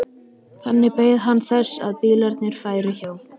Þannig beið hann þess að bílarnir færu hjá.